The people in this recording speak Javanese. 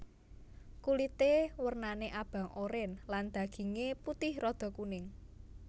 Kulité wernané abang oren lan dagingé putih rada kuning